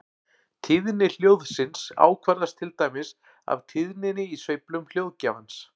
Tíðni hljóðsins ákvarðast til dæmis af tíðninni í sveiflum hljóðgjafans.